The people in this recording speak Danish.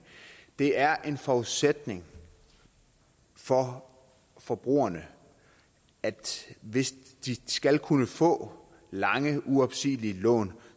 det er en forudsætning for forbrugerne at hvis de skal kunne få lange uopsigelige lån